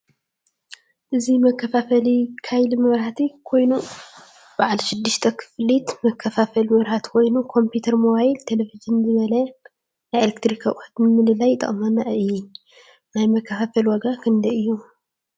እዚ መካፋፈሊ ካይሊ መብራህቲ ኮይኑ በዓለ ሽዱሽተ ክፍሊት መከፋፈሊ መብራህቲ ኮይኑ ኮምፕተር ሞባይል ፣ቴሌቭዥን ዝበለየ ናይ ኤሌክትሪክ ኣቁሑት ንምምላይ ይጠቅመና። ናይ መካፋፈሊ ዋጋ ክንዳይ እዩ?